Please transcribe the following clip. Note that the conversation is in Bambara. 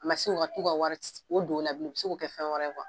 Mɛ sani u ka t'u ka wari Wari don o la , u bɛ se k'o kɛ fɛn wɛrɛ ye kuwa.